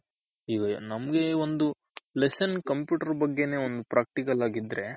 ಈಗ ನಮ್ಗೆ ಒಂದ್ lesson computer ಬಗ್ಗೆನೇ ಬಗ್ಗೆನೇ ಒಂದು Practical ಆಗಿದ್ರೆ